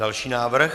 Další návrh.